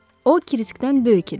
O Kriskdən böyük idi.